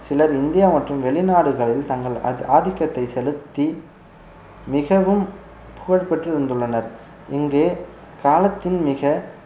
சிலர் இந்தியா மற்றும் வெளிநாடுகளில் தங்கள் அதி~ ஆதிக்கத்தை செலுத்தி மிகவும் புகழ் பெற்று இருந்துள்ளனர் இங்கே காலத்தின் மிக